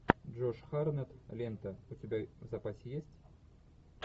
джош хартнетт лента у тебя в запасе есть